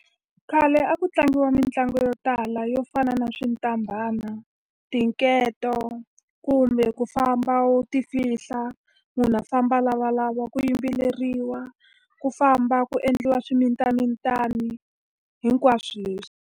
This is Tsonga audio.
Khale a ku tlangiwa mitlangu yo tala yo fana na , tinketo, kumbe ku famba u ti fihla munhu a famba a lavalava, ku yimbeleriwa, ku famba ku endliwa swimitamitana, hinkwaswo leswi.